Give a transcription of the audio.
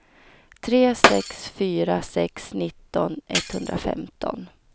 tre sex fyra sex nitton etthundrafemton